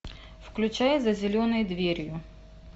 включай за зеленой дверью